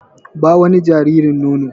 Ba wa jaririn nono!